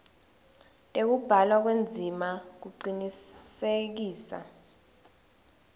tekubhalwa kwendzima kucinisekisa